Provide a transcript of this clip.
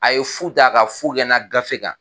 A ye fu daa ka fu kɛ na gafe kan.